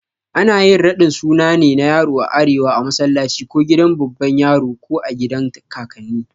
Ana ƴin raɗin sunna na yaro a arewa a massalaci ko gidan baban yaro ko agidan kakanni.